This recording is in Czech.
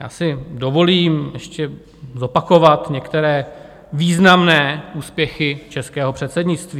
Já si dovolím ještě zopakovat některé významné úspěchy českého předsednictví.